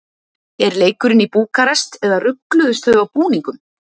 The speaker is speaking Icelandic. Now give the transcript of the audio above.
Er leikurinn í Búkarest eða rugluðust þau á búningum?